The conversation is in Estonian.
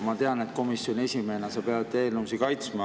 Ma tean, et komisjoni esimehena sa pead eelnõusid kaitsma.